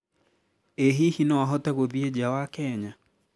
ĩ hihi no ahote guthiĩ nja wa Kenya?